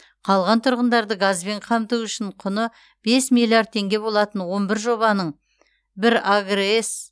қалған тұрғындарды газбен қамту үшін құны бес миллиард теңге болатын он бір жобаның бір агрс